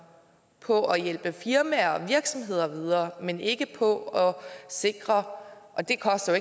på at hjælpe firmaer og virksomheder videre men ikke på at sikre og det koster